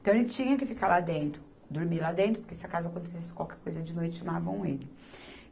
Então, ele tinha que ficar lá dentro, dormir lá dentro, porque se acaso acontecesse qualquer coisa de noite, chamavam ele.